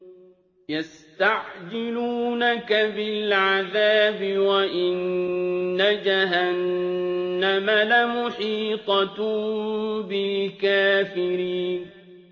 يَسْتَعْجِلُونَكَ بِالْعَذَابِ وَإِنَّ جَهَنَّمَ لَمُحِيطَةٌ بِالْكَافِرِينَ